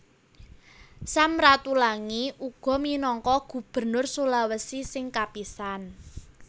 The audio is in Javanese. Sam Ratulangi uga minangka Gubernur Sulawesi sing kapisan